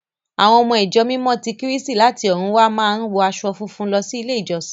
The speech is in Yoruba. À́wọn ọmọ Ìjọ Mímọ́ ti Kírísítì láti ọ̀run wá máa ń wọ aṣọ funfun lọ sí ilé-ìjọsìn.